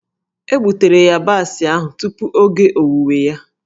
E gbutere yabasị ahụ tupu oge owuwe ya.